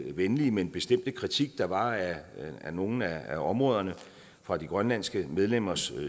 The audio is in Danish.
venlige men bestemte kritik der var af nogle af områderne fra de grønlandske medlemmers